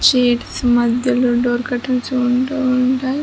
Sheets మధ్యలో door curtains ఉంటు ఉంటాయి.